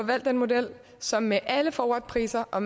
valgt den model som med alle forwardpriser og